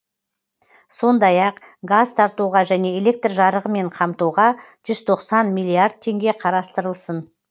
сондай ақ газ тартуға және электр жарығымен қамтуға жүз тоқсан миллиард теңге қарастырылсын